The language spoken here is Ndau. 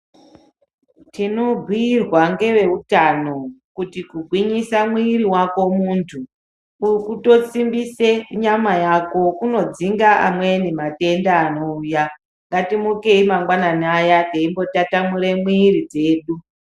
Tinobhiirwa ngeveutano kuti kugwinyisa mwiri wako muntu kutosimbise nyama yako kunodzinga amweni matenda anouya, ngatimukei mangwanani aya teimbotatamure mwiri dzedu.